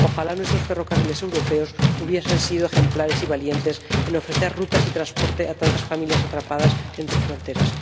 Ojalá nuestros ferrocarriles europeos hubiesen sido ejemplares y valientes a la hora de ofrecer rutas y transporte a tantas familias atrapadas entre fronteras.